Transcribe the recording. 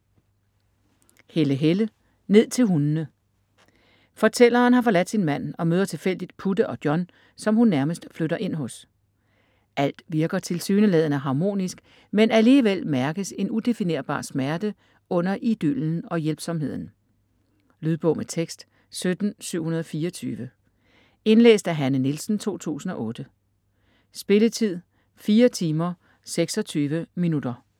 Helle, Helle: Ned til hundene Fortælleren har forladt sin mand og møder tilfældigt Putte og John, som hun nærmest flytter ind hos. Alt virker tilsyneladende harmonisk, men alligevel mærkes en udefinerbar smerte under idyllen og hjælpsomheden. Lydbog med tekst 17724 Indlæst af Hanne Nielsen, 2008. Spilletid: 4 timer, 26 minutter.